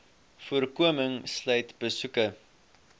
voorkoming sluit besoeke